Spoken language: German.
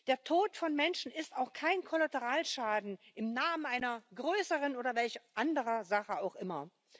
Der Tod von Menschen ist auch kein Kollateralschaden im Namen einer größeren oder welch anderen Sache auch immer.